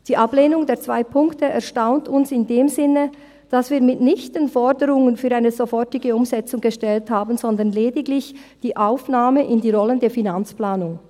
Die Ablehnung der zwei Punkte erstaunt uns in dem Sinne, dass wir mitnichten Forderungen für eine sofortige Umsetzung gestellt haben, sondern lediglich die Aufnahme in die rollende Finanzplanung.